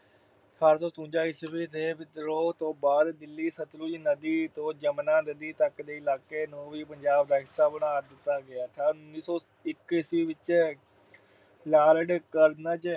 ਅਠਾਰਾਂ ਸੌ ਸਤਵੰਜਾ ਈਸਵੀ ਦੇ ਵਿਦਰੋਹ ਤੋਂ ਬਾਅਦ ਦਿੱਲੀ ਸਤਲੁਜ ਨਦੀ ਤੋਂ ਜਮੁਨਾ ਨਦੀ ਤੱਕ ਦੇ ਇਲਾਕੇ ਨੂੰ ਵੀ ਪੰਜਾਬ ਦਾ ਹਿੱਸਾ ਬਣਾ ਦਿੱਤਾ ਗਿਆ। ਉਨੀ ਸੌ ਇੱਕ ਈਸਵੀ ਵਿੱਚ Lord Curzon